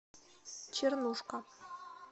чернушка